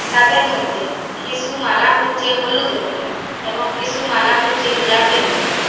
তাদের মইদ্যে কিসু মালা হইচ্চে হলুদ রংগের এবং কিসু মালা হইচ্চে গোলাপী রংগের।